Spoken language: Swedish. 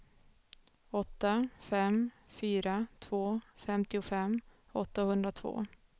åtta fem fyra två femtiofem åttahundratvå